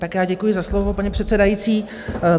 Tak já děkuji za slovo, paní předsedající.